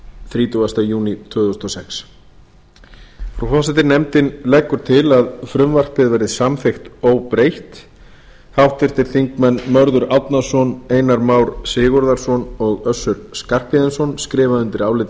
þrítugasta júní tvö þúsund og sex frú forseti nefndin leggur til að frumvarpið verði samþykkt óbreytt háttvirtur þingmaður mörður árnason einar már sigurðarson og össur skarphéðinsson skrifa undir álitið